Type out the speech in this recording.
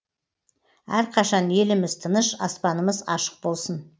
әрқашан еліміз тыныш аспанымыз ашық болсын